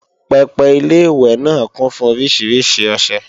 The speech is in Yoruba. pẹpẹ Ilé-ìwẹ̀ náà kún fún oríṣiríṣi ọṣẹ